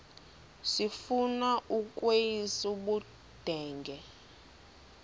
sifuna ukweyis ubudenge